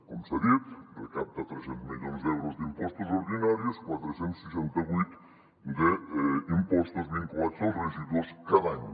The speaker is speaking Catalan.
com s’ha dit recapta tres cents milions d’euros d’impostos ordinaris quatre cents i seixanta vuit impostos vinculats als residus cada any